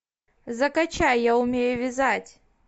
закачай я умею вязать